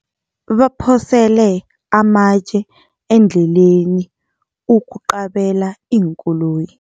Baphosele amatje endleleni ukuqabela iinkoloyi.